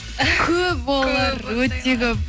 көп олар өте көп